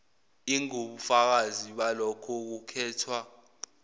ingubufakazi balokho kukhethwa